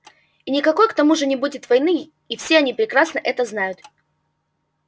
и никакой к тому же не будет войны и все они прекрасно это знают